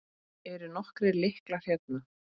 Eru nokkrir lyklar hérna?